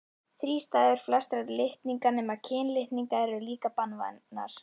Þrístæður flestra litninga nema kynlitninga eru líka banvænar.